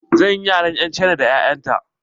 Zan yi yaren 'yan cina da 'ya'yan ta.